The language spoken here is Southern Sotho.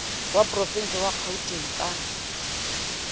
wa porovense wa kgauteng ka